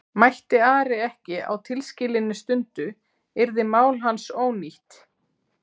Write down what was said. Mætti Ari ekki á tilskilinni stundu yrði mál hans ónýtt.